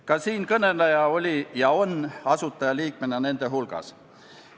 Ka siinkõneleja oli ja on asutajaliikmena nende hulgas.